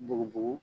Bugubugu